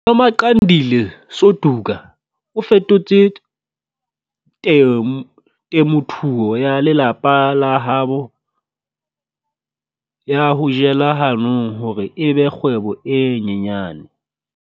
Nomagcinandile Suduka o fetotse temothuo ya lelapa la habo ya ho jela hanong hore e be kgwebo e nyenyane.